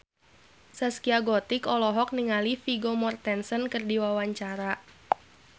Zaskia Gotik olohok ningali Vigo Mortensen keur diwawancara